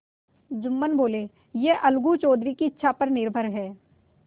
जुम्मन बोलेयह अलगू चौधरी की इच्छा पर निर्भर है